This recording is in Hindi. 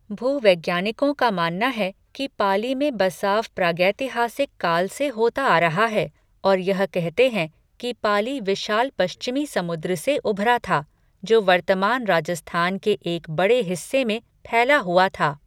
भूवैज्ञानिकों का मानना है कि पाली में बसाव प्रागैतिहासिक काल से होता रहा है और यह कहते हैं कि पाली विशाल पश्चिमी समुद्र से उभरा था, जो वर्तमान राजस्थान के एक बड़े हिस्से में फैला हुआ था।